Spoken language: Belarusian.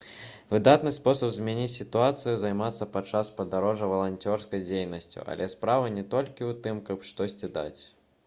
выдатны спосаб змяніць сітуацыю займацца падчас падарожжа валанцёрскай дзейнасцю але справа не толькі ў тым каб штосьці даць